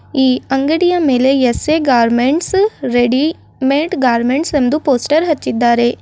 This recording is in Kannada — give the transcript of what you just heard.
ಈ ಅಂಗಡಿಯ ಮೇಲೆ S A garments ready made garments ಎಂದು ಪೋಸ್ಟರ್ ಹಚ್ಚಿದ್ದಾರೆ.